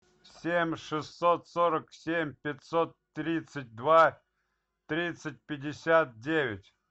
семь шестьсот сорок семь пятьсот тридцать два тридцать пятьдесят девять